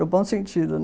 No bom sentido, né?